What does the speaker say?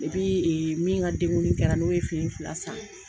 Epi min ka denguli kɛra n'o ye fini fila san.